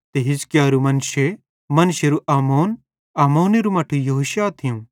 ते हिजकिय्‍याहेरू मनश्शे मनश्शेरू आमोन आमोनेरू मट्ठू योशिय्याह थियूं